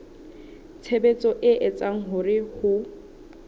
tshebetso e etsang hore ho